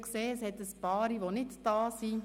Ich habe gesehen, dass einige nicht anwesend sind: